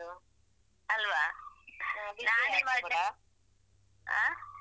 ಅಲ್ವಾ ನಾನ್ ಇವಾಗ ಹ.